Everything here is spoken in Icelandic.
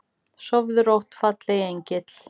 Sofðu rótt, fallegi engill.